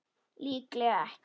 Líklega ekki.